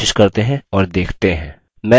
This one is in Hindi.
इस command की कोशिश करते हैं और देखते हैं